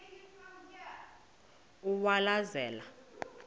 uwaleza